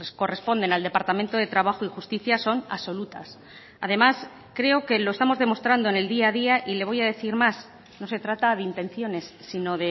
corresponden al departamento de trabajo y justicia son absolutas además creo que lo estamos demostrando en el día a día y le voy a decir más no se trata de intenciones sino